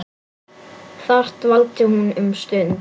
Þar dvaldi hún um stund.